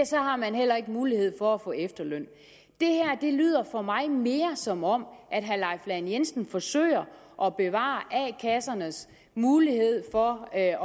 så har man heller ikke mulighed for at få efterløn det her lyder for mig mere som om herre leif lahn jensen forsøger at bevare a kassernes mulighed for at